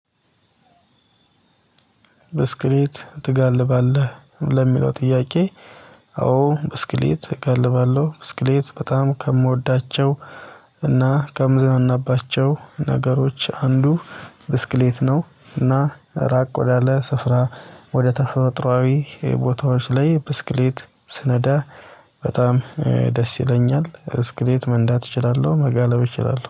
በስክሌት ትጋልባለህ ለሚለው ጥያቄ? አዎ ብስክሌት እገልባለሁ ብስክሌት በጣም ከምወዳቸው እና ከምዝናናባቸው ነገሮች አንዱ ብስክሌት ነው። እና ራቅ ወዳለ ስፍራ ወደ ተፈጥሮአዊ ቦታዎች ላይ ብስክሌት ስነዳ በጣም ደስ ይለኛል። ብስክሌት መንዳት እችላለሁ መጋለብ እችላለሁ